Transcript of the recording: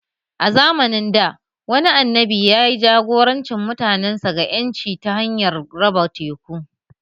A zamanin dā, wani annabi ya ja-goranci mutanensa ga ƴanci ta hanyar raba teku